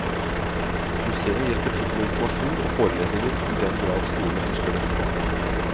Museet hjelper til med informasjon og forelesninger i den grad skolene ønsker det.